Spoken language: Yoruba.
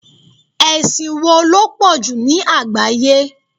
Ẹ̀sìn wo ló pọ̀jù ní àgbáyé?